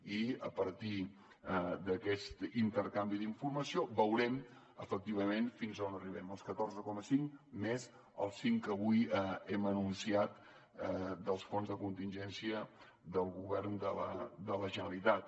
i a partir d’aquest intercanvi d’informació veurem efectivament fins a on arriben els catorze coma cinc més els cinc que avui hem anunciat dels fons de contingència del govern de la generalitat